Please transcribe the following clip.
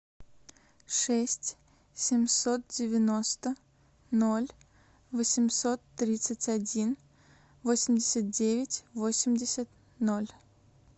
шесть семьсот девяносто ноль восемьсот тридцать один восемьдесят девять восемьдесят ноль